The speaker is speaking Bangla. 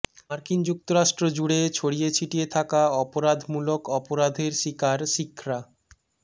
মার্কিন যুক্তরাষ্ট্র জুড়ে ছড়িয়ে ছিটিয়ে থাকা অপরাধমূলক অপরাধের শিকার শিখরা